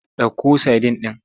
Ɗauko sadin ɗin!